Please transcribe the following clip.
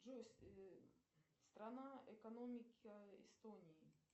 джой страна экономики эстонии